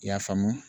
I y'a faamu